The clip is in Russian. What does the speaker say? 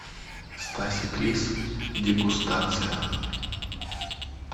стасик лис дегустация